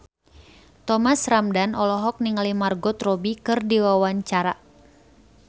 Thomas Ramdhan olohok ningali Margot Robbie keur diwawancara